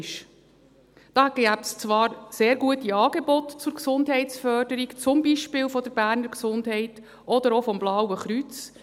Es gäbe zwar sehr gute Angebote zur Gesundheitsförderung, zum Beispiel der Berner Gesundheit (BEGES) oder auch des Blauen Kreuzes;